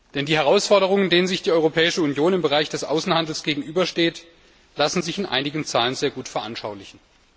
Denn die Herausforderungen, denen sich die Europäische Union im Bereich des Außenhandels gegenübersieht, lassen sich in einigen Zahlen sehr gut veranschaulichen.